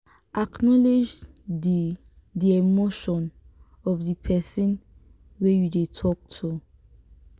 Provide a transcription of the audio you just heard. acknowlege di di emotion of di person wey you dey talk to